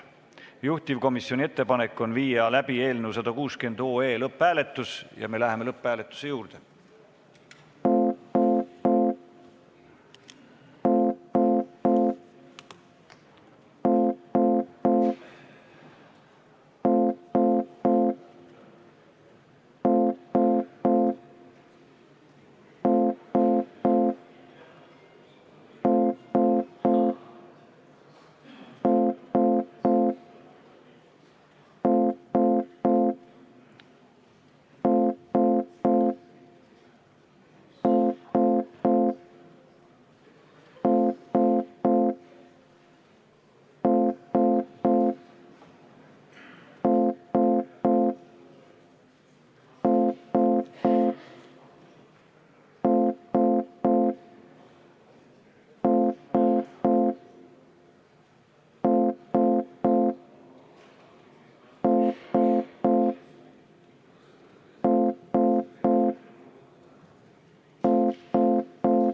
Juhtivkomisjoni ettepanek on viia läbi eelnõu 160 lõpphääletus ja me läheme lõpphääletuse juurde.